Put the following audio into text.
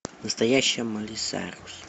настоящая майли сайрус